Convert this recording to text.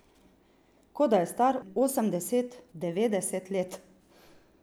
Kot da je star osemdeset, devetdeset let.